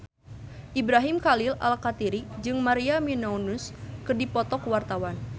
Ibrahim Khalil Alkatiri jeung Maria Menounos keur dipoto ku wartawan